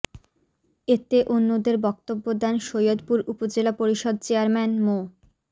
এতে অন্যদের বক্তব্য দেন সৈয়দপুর উপজেলা পরিষদর চেয়ারম্যান মো